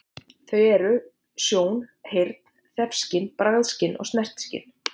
Þau eru sjón, heyrn, þefskyn, bragðskyn og snertiskyn.